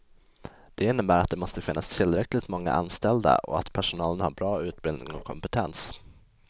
Det innebär att det måste finnas tillräckligt många anställda och att personalen har bra utbildning och kompetens.